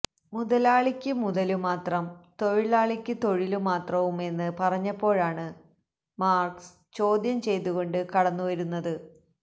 മുതലാളിക്ക് മുതലുമാത്രം തൊഴിലാളിക്ക് തൊഴിലുമാത്രവും എന്ന് പറഞ്ഞപ്പോഴാണ് മാർക്സ് ചോദ്യം ചെയ്തുകൊണ്ട് കടന്നുവരുന്നത്